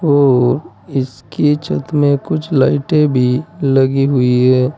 और इसकी छत में कुछ लाइटे भी लगी हुई है।